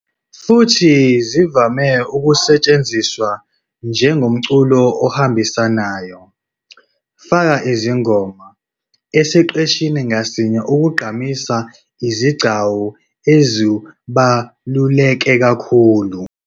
Futhi, zivame ukusetshenziswa njengomculo ohambisanayo, "faka izingoma", esiqeshini ngasinye ukugqamisa izigcawu ezibaluleke kakhulu.